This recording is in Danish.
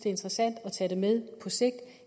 interessante at tage det med på sigt